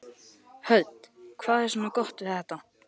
Hödd: Hvað er svona gott við þetta?